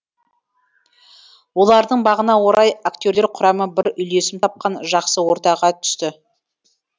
олардың бағына орай актерлер құрамы бір үйлесім тапқан жақсы ортаға түсті